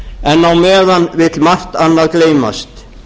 en á meðan vill margt annað gleymast